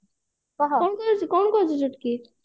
କଣ କରୁଛୁ କଣ କରୁଛୁ ଚୁଟକି